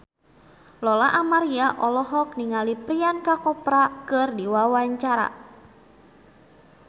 Lola Amaria olohok ningali Priyanka Chopra keur diwawancara